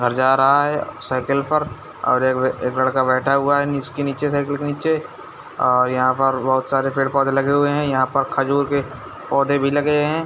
--घर जा रहा है साइकिल पर और एक लका बेठा हुवा है नीचे साइकिल के नीचे ओ यह पर बहुत सारे पेड़-पोधे लगे हुवे है यह पर खजूर के पोधे भी लगे है।